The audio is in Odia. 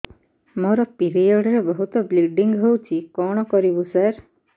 ମୋର ପିରିଅଡ଼ ରେ ବହୁତ ବ୍ଲିଡ଼ିଙ୍ଗ ହଉଚି କଣ କରିବୁ ସାର